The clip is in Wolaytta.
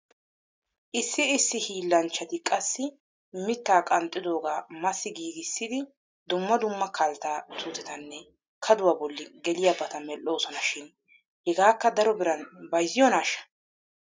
Issi issi hiillanchchati qassi mittaa qanxxidoogaa massi giigissidi dumma dumma kaltta tuutetanne kaduwaa bolli geliyaabata medhdhooson shin hegaakka daro biran bayzziyoonaashsha?